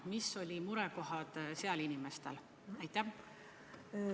Millised olid sealsete inimeste murekohad?